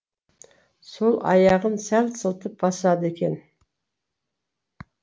сол аяғын сәл сылтып басады екен